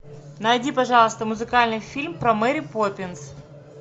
найди пожалуйста музыкальный фильм про мэри поппинс